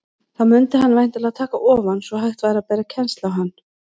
Þá mundi hann væntanlega taka ofan, svo hægt væri að bera kennsl á hann.